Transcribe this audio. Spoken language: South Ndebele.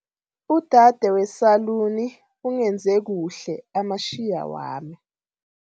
Udade wesaluni ungenze kuhle amatjhiya wami.